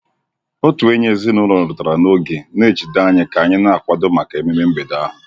Otu enyi ezinụlọ rutere n'oge, na-ejide anyị ka anyị na-akwado maka ememe mgbede ahụ.